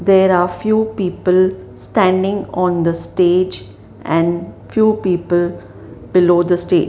there are few people standing on the stage and few people below the stage.